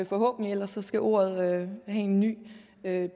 forhåbentlig ellers skal ordet have en ny